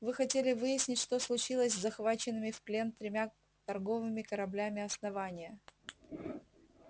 вы хотели выяснить что случилось с захваченными в плен тремя торговыми кораблями основания